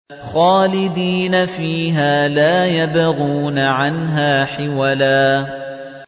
خَالِدِينَ فِيهَا لَا يَبْغُونَ عَنْهَا حِوَلًا